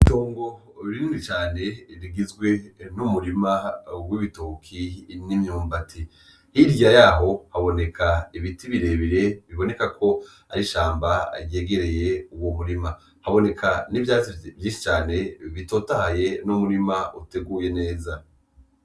Itongo rinini cane rigizwe n'umurima w'ibitoki n'imyumbati. Hirya yaho haboneka ibiti birebire bibonekako ari ishamba ryegereye uwo murima. Haboneka n'ivyatsi vyinshi bitotahaye n'umurima uteguye neza.